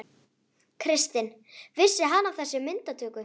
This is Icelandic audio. Kristinn: Vissi hann af þessi myndatöku?